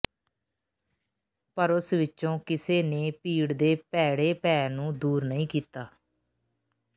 ਪਰ ਉਸ ਵਿਚੋਂ ਕਿਸੇ ਨੇ ਭੀੜ ਦੇ ਭੈੜੇ ਭੈਅ ਨੂੰ ਦੂਰ ਨਹੀਂ ਕੀਤਾ